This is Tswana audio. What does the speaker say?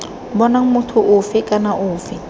bonang motho ofe kana ofe